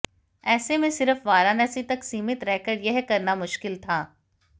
ऐसे में सिर्फ वाराणसी तक सीमित रहकर यह करना मुश्किल था